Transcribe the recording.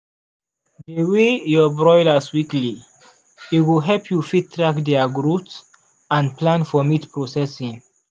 dey weigh your broilers weekly e go help you fit track their growth and plan for meat processing.